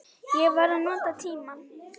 Ég var að nota tímann.